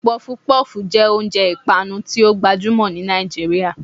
puff-puff jẹ oúnjẹ ipanú ti o gbajumọ ni Nijiriria